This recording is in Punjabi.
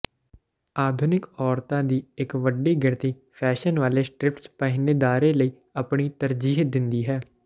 ਆਧੁਨਿਕ ਔਰਤਾਂ ਦੀ ਇੱਕ ਵੱਡੀ ਗਿਣਤੀ ਫੈਸ਼ਨ ਵਾਲੇ ਸਟ੍ਰਿਪਡ ਪਹਿਨੇਦਾਰਾਂ ਲਈ ਆਪਣੀ ਤਰਜੀਹ ਦਿੰਦੀ ਹੈ